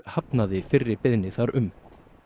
hafnaði fyrri beiðni þar um